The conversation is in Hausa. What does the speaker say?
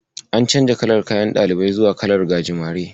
An canja kalar kayan ɗalibai zuwa kalar gajimare.